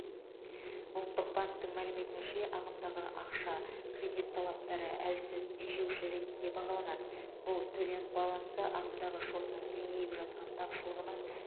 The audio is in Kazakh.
ұлттық банктің мәліметінше ағымдағы ақша кредит талаптары әлсіз тежеуші ретінде бағаланады бұл төлем балансы ағымдағы шотының кеңейіп жатқан тапшылығының